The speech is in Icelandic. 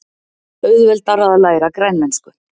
Auðveldara að læra grænlensku